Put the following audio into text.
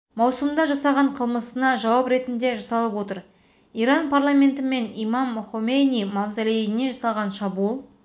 маусымда жасаған қылмысына жауап ретінде жасалып отыр иран парламенті мен имам хомейни мавзолейіне жасалған шабуыл